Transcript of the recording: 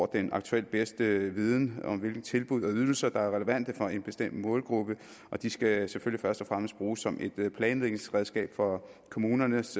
den aktuelt bedste viden om hvilke tilbud og ydelser der er relevante for en bestemt målgruppe og de skal selvfølgelig først og fremmest bruges som et planlægningsredskab for kommunernes